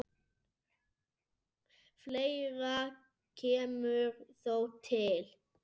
Fleira kemur þó til.